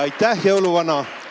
Aitäh, jõuluvana!